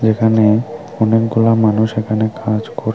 এখানে অনেকগুলো মানুষ কাজ কর--